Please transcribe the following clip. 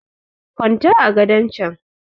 kwanta a gadon chan!